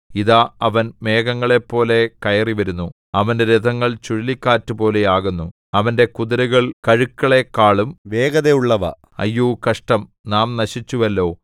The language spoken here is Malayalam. ഇതാ അവൻ മേഘങ്ങളെപ്പോലെ കയറിവരുന്നു അവന്റെ രഥങ്ങൾ ചുഴലിക്കാറ്റുപോലെ ആകുന്നു അവന്റെ കുതിരകൾ കഴുക്കളെക്കാളും വേഗതയുള്ളവ അയ്യോ കഷ്ടം നാം നശിച്ചുവല്ലോ